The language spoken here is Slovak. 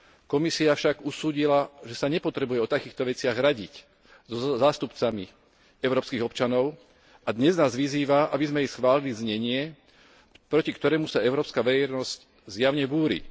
Komisia však usúdila, že sa nepotrebuje o takýchto veciach radiť so zástupcami európskych občanov a dnes nás vyzýva, aby sme jej schválili znenie, proti ktorému sa európska verejnosť zjavne búri.